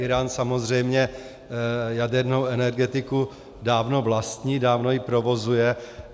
Írán samozřejmě jadernou energetiku dávno vlastní, dávno ji provozuje.